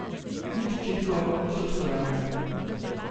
Nič očitkov, nič obsojanja.